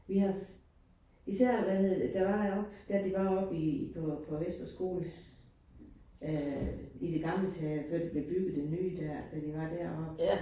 Vi har især hvad hedder det der var oppe, da det var oppe i på på Vestre Skole øh i det gamle teater før det blev bygget det nye dér, da det var deroppe